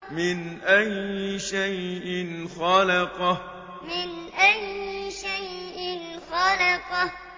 مِنْ أَيِّ شَيْءٍ خَلَقَهُ مِنْ أَيِّ شَيْءٍ خَلَقَهُ